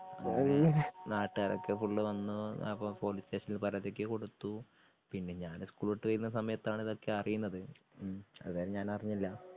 നാട്ടുകാരൊക്കെ ഫുള്ള് വന്ന് അപ്പൊ പോലീസ് സ്റ്റേഷനിൽ പരാതിയൊക്കെ കൊടുത്തു. പിന്നെ ഞാന് ഇസ്കൂള് വിട്ടുവരുന്ന സമയത്താണ് അറിയുന്നത് ഉം അതുവരെ ഞനറിഞ്ഞില്ല.